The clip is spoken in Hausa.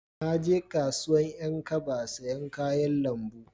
Na je kasuwan 'yan kaba sayan kayan lambu